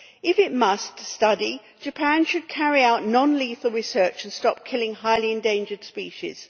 If it must study, Japan should carry out non lethal research and stop killing highly endangered species.